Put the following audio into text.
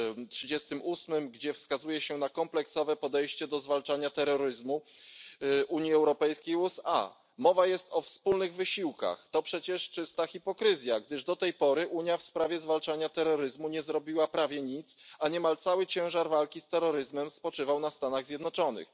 38, w którym wskazuje się na kompleksowe podejście Unii Europejskiej i USA do zwalczania terroryzmu. Mowa jest o wspólnych wysiłkach, a to przecież czysta hipokryzja, gdyż do tej pory Unia w sprawie zwalczania terroryzmu nie zrobiła prawie nic, a niemal cały ciężar walki z terroryzmem spoczywał na Stanach Zjednoczonych.